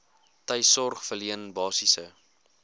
tuissorg verleen basiese